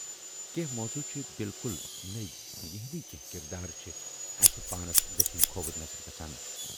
کینہہ موضوٗع چھِ بِلکُل نٔوۍ یِہٕنٛدۍ کینہہ کِردار چھِ اَسہِ پانس دٔچھِنۍ کھووٕرۍ نظرِ گژھان